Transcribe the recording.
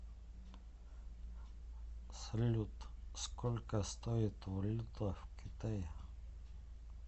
салют сколько стоит валюта в китае